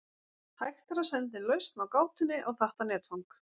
hægt er að senda inn lausn á gátunni á þetta netfang